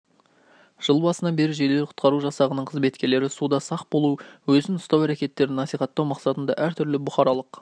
жыл басынан бері жедел-құтқару жасағының қызметкерлері суда сақ болу өзін ұстау әрекеттерін насихаттау мақсатында әртүрлі бұқаралық